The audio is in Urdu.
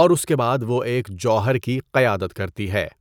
اور اس کے بعد وہ ایک جوہر کی قیادت کرتی ہے۔